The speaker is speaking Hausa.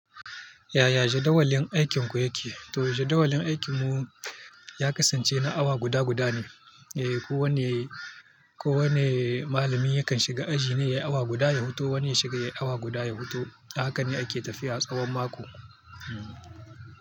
Yaya jadawalin aikinku yake? To jadawalin aikinmu ya kasance na awa guda guda ne. Eh, ko wanne ko wanne malami yakan shiga aji ne ya yi awa guda ya huto, wani ya shiga ya yi awa guda ya huto. Haka ne ake tafiya tsawon mako. Hmm.